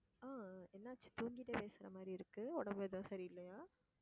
ஆஹ் என்னாச்சு தூங்கிட்டே பேசுற மாதிரி இருக்கு. உடம்பு எதுவும் சரி இல்லையா